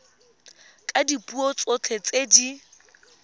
ka dipuo tsotlhe tse di